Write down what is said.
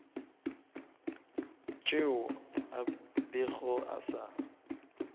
tšeo a bego a sa